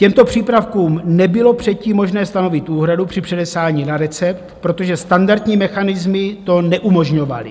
Těmto přípravkům nebylo předtím možné stanovit úhradu při předepsání na recept, protože standardní mechanismy to neumožňovaly.